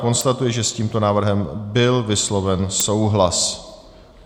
Konstatuji, že s tímto návrhem byl vysloven souhlas.